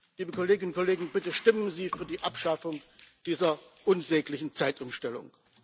Liebe Kolleginnen und Kollegen, bitte stimmen Sie für die Abschaffung dieser unsäglichen Zeitumstellung!